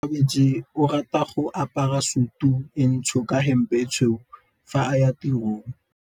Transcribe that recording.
Onkabetse o rata go apara sutu e ntsho ka hempe e tshweu fa a ya tirong.